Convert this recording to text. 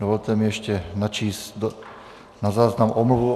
Dovolte mi ještě načíst na záznam omluvu.